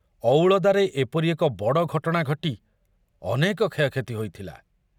ଅଉଳଦାରେ ଏପରି ଏକ ବଡ଼ ଘଟଣା ଘଟି ଅନେକ କ୍ଷୟକ୍ଷତି ହୋଇଥିଲା।